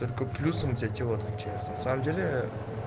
только плюсом у тебя тело отключается на самом деле